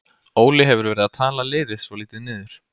Óli hefur verið að tala liðið svolítið niður.